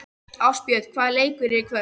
Ástbjörg, hvaða leikir eru í kvöld?